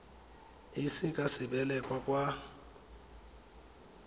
e ise ka sebelel kwa